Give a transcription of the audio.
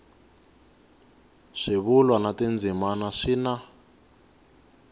swivulwa na tindzimana swi na